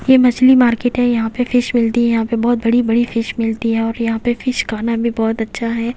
ये मछली मार्केट है यहां पे फिश मिलती है यहां पे बहुत बड़ी-बड़ी फिश मिलती है और यहां पे फिश खाना भी बहुत अच्छा है।